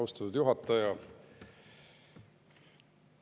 Austatud juhataja!